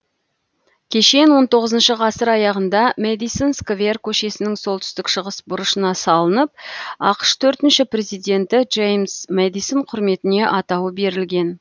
кешен он тоғызыншы ғасыр аяғында мэдисон сквер көшесінің солтүстік шығыс бұрышына салынып ақш төртінші президенті джеймс мэдисон құрметіне атауы берілген